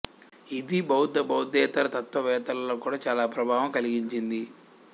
ఇది బౌద్ధ బౌద్ధేతర తత్వవేత్తలలో కూడా చాలా ప్రభావం కలిగించింది